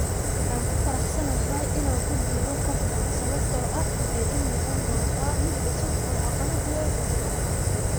Waan ku faraxsanahay inaan ku biiro kooxdaan sababtoo ah waxay ii noqon doontaa mid cusub oo caqabad weyn igu ah.